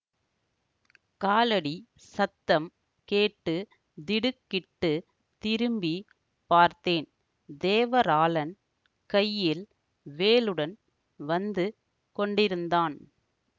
காலடி சத்தம் கேட்டு திடுக்கிட்டுத் திரும்பி பார்த்தேன் தேவராளன் கையில் வேலுடன் வந்து கொண்டிருந்தான்